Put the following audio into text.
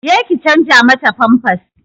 Je ki canza mata famfas!